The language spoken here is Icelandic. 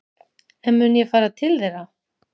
En mun ég fara til þeirra?